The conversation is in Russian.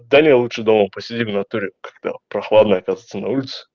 далее лучше дома посидим в натуре как-то прохладно оказывается на улице